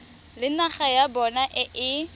le naga ya bona e